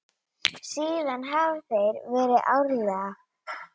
Síðan hafa þeir verið árlega.